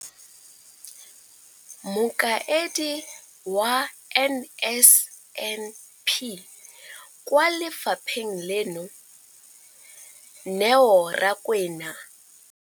Mokaedi wa NSNP kwa lefapheng leno, Neo Rakwena.